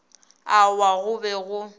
a wa go be go